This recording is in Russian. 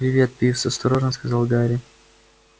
привет пивз осторожно сказал гарри